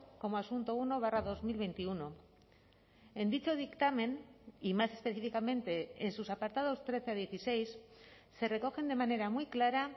como asunto uno barra dos mil veintiuno en dicho dictamen y más específicamente en sus apartados trece a dieciséis se recogen de manera muy clara